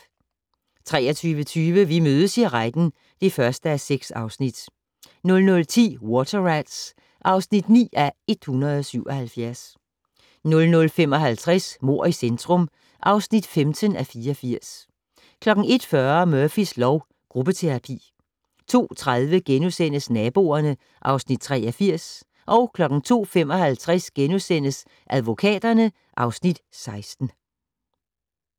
23:20: Vi mødes i retten (1:6) 00:10: Water Rats (9:177) 00:55: Mord i centrum (15:84) 01:40: Murphys lov: Gruppeterapi 02:30: Naboerne (Afs. 83)* 02:55: Advokaterne (Afs. 16)*